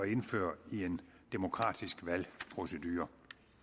indføre i en demokratisk valgprocedure